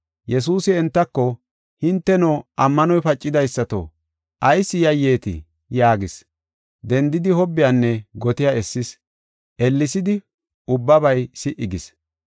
Yesuusi entako, “Hinteno, ammanoy pacidaysato, ayis yayyetii?” yaagis. Dendidi, hobbiyanne gotiya essis. Ellesidi ubbabay si77i gis.